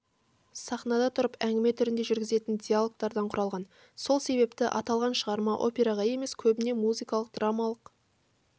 сахнада тұрып әңгіме түрінде жүргізетін диалогтардан құралған сол себепті аталған шығарма операға емес көбіне музыкалық-драмалық